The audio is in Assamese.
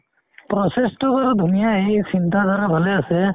process তো বাৰু ধুনীয়াই এই চিন্তাধাৰা ভালে আছে